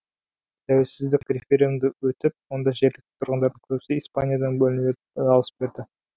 тәуелсіздік референдумы өтіп онда жергілікті тұрғындардың көбісі испаниядан бөлінуге дауыс берді